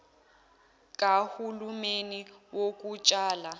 kahu lumeni wokutshala